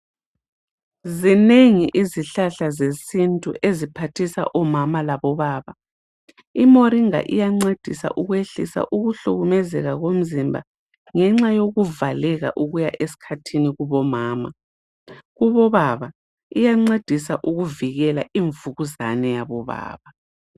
zinengi izihlahla zesintu eziphathisa omama labobaba imoringa iyancedisa ukwehlisa ukuhlukuluzeka komzimba ngenxa yokuvaleka ukuya esikhathini kubomama kubo baba iyancedisa ukuvikela imvukuzane yabobaba